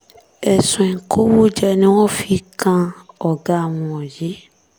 ẹ̀sùn ìkówójẹ ni wọ́n fi kan ọ̀gá wọn yìí